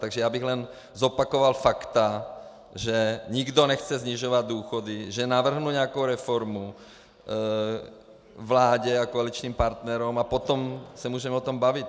Takže já bych jen zopakoval fakta, že nikdo nechce snižovat důchody, že navrhnu nějakou reformu vládě a koaličním partnerům a potom se můžeme o tom bavit.